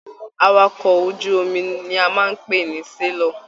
Àwàkọ̀ ojú omi ní a n pé ní selọ̀.